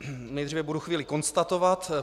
Nejdříve budu chvíli konstatovat.